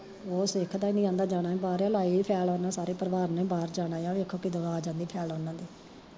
ਓ ਸਿੱਖਦਾ ਨੀ ਆਂਦਾ ਜਾਣਾ ਈ ਬਾਰ ਆ, ਲਾਈ ਹੋਈ ਫਿਲੇ ਓਨਾ ਸਾਰੇ ਪਰਿਵਾਰ ਨੇ ਬਾਰ ਜਾਣਾ ਆ, ਵੇਖੋ ਕਦੋਂ ਆ ਜਾਂਦੀ ਓਨਾ ਦੀ